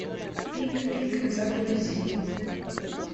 пик пик загрузи